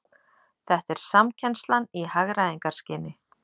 Þetta er samkennslan í hagræðingarskyni